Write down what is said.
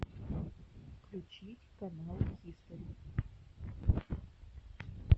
включить канал хистори